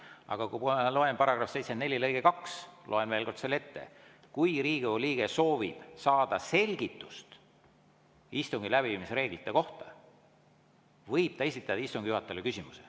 Aga § 74 lõige 2, ma loen veel kord selle ette: "Kui Riigikogu liige soovib saada selgitust istungi läbiviimise reeglite kohta, võib ta esitada istungi juhatajale küsimuse.